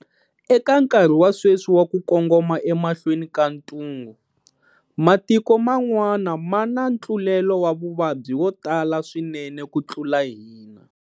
Eka nkarhi wa sweswi wa ku kongoma emahlweni ka ntungu, matiko man'wana ma na ntlulelo wa vuvabyi wo tala swinene ku tlula hina.